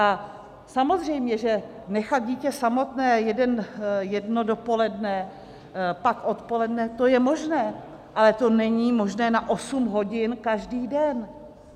A samozřejmě že nechat dítě samotné jedno dopoledne, pak odpoledne, to je možné, ale to není možné na osm hodin každý den!